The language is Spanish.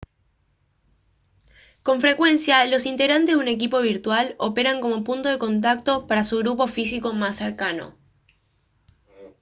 con frecuencia los integrantes de un equipo virtual operan como punto de contacto para su grupo físico más cercano